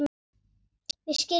Við skiljum hvor aðra.